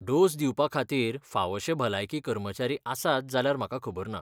Dose दिवपाखातीर फावशे भलायकी कर्मचारी आसात जाल्यार म्हाका खबर ना.